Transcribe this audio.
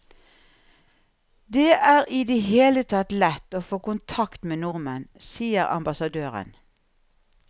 Det er i det hele tatt lett å få kontakt med nordmenn, sier ambassadøren.